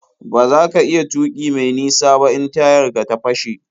Ba za ka iya tuƙi me nisa ba in tayar ka ta fashe.